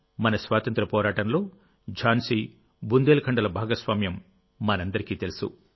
మన స్వాతంత్ర్య పోరాటంలో ఝాన్సీ బుందేల్ఖండ్ల భాగస్వామ్యం మనందరికీ తెలుసు